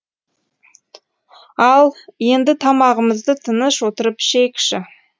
ал енді тамағымызды тыныш отырып ішейікші